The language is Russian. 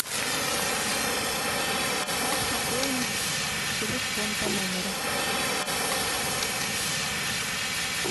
как пополнить телефон по номеру